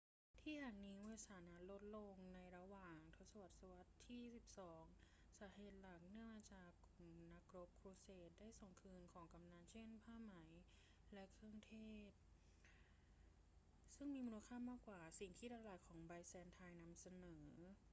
ที่แห่งนี้มีสถานะลดลงในระหว่างศตวรรษที่สิบสอง สาเหตุหลักเนื่องมาจากกลุ่มนักรบครูเสดได้ส่งคืนของกำนัล เช่น ผ้าไหมและเครื่องเทศซึ่งมีมูลค่ามากกว่าสิ่งที่ตลาดของไบแซนไทน์นำเสนอ